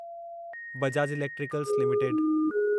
Bajaj electricals limited